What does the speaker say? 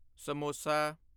samosa